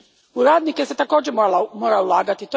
U radnike se također mora ulagati.